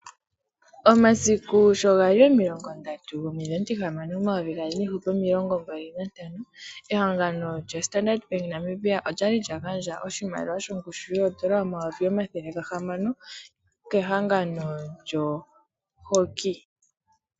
Omasiku sho ga li 30.06.2025 ehangano lyoStandard Bank Namibia olya li lya gandja oshimaliwa shongushu yoodola omayovi omathele gahamano kehangano lyoHockey.